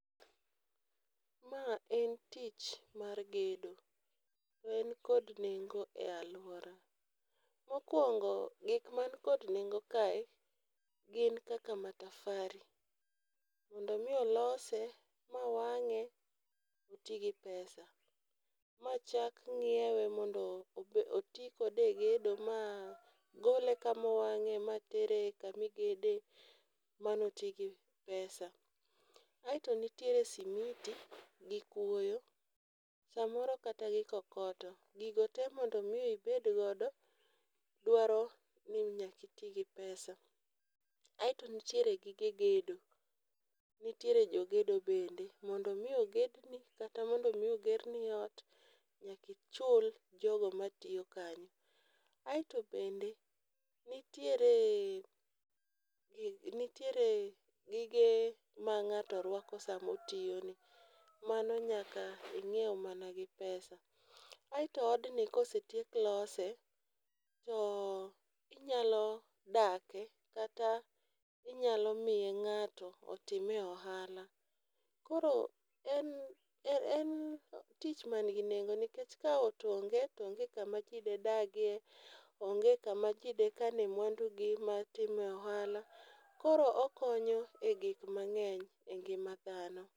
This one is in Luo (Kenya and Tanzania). Ma en tich mar gedo, to en kod nengo e alwora. Mokuongo gik man kod nengo kae gin kata matafari, mondo mi olose ma wang'e, oti gi pesa, machak ng'iewe ma ti kode e gedo ma gole kama owang'e ma tere kama igede mano oti gi pesa. Aeto nitiere simiti gi kuoyo samoro kata gi kokoto. Gigo te mondo mi ibed godo dwaro ni nyako iti gi pesa. Aeto nitiere gige gedo, nitiere jo gedo bende. Mondo mi ogedni kata mondo mi ogerni ot nyaka ichul jogo matiyo kanyo. Aeto bende nitiere gi nitiere gige ma ng'ato rwako sama otiyoni, mano nyaka ing'ieu mana gi pesa. Aeto odni kosetiek lose, to inyalo dake kata inyalo miye ng'ato otime ohala. Koro en en tich ma nigi nengo nikech ka ot onge to onge kama ji dedagie, onge kama ji dekane mwandugi ma time ohala, koro okonyo e gik mag'eny e ngima dhano.